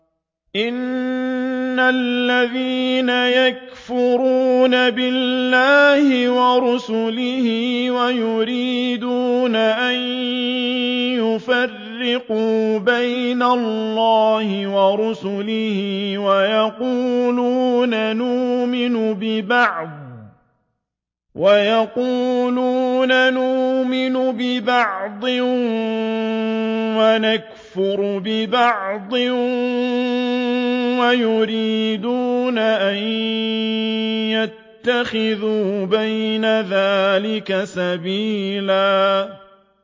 إِنَّ الَّذِينَ يَكْفُرُونَ بِاللَّهِ وَرُسُلِهِ وَيُرِيدُونَ أَن يُفَرِّقُوا بَيْنَ اللَّهِ وَرُسُلِهِ وَيَقُولُونَ نُؤْمِنُ بِبَعْضٍ وَنَكْفُرُ بِبَعْضٍ وَيُرِيدُونَ أَن يَتَّخِذُوا بَيْنَ ذَٰلِكَ سَبِيلًا